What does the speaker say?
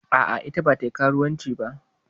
A'a, ita bata yi karuwanci ba.